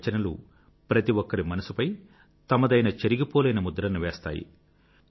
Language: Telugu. వారి రచనల్లు ప్రతి ఒక్కరి మనసుపై తమదైన చెరిగిపోలేని ముద్రను వేస్తాయి